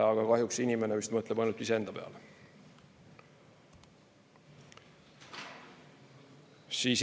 Aga kahjuks inimene vist mõtleb ainult iseenda peale.